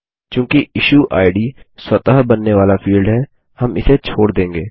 चूँकि इश्यूइड स्वतः बनने वाला फील्ड है हम इसे छोड़ देंगे